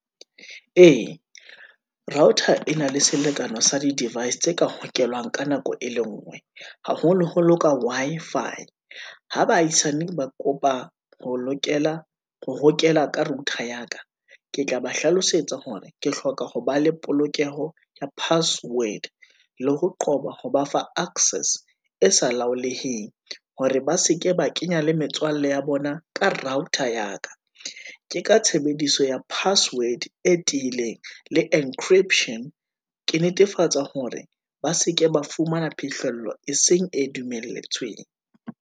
Ee, router e na le selekane sa di device tse ka hokelang ka nako e le ngwe, haholoholo ka Wi-Fi. Ho baahisane ba kopa ho hokela ka router ya ka, ke tla ba hlalosetsa hore ke hloka ho ba le polokeho ya password, le ho qoba ho ba fa access e sa laholeheng, hore ba seke ba kenya le metswalle ya bona ka router ya ka. Ke ka tshebediso ya password e tiileng, le encryption, ke netefatsa hore ba seke ba fumana phihlello, e seng e dumelletsweng.